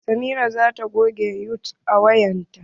Samira zata goge yutub a wayar ta.